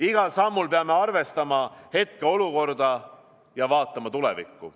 Igal sammul peame arvestama hetkeolukorda ja vaatama tulevikku.